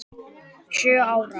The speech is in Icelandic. Sjö ára?